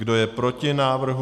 Kdo je proti návrhu?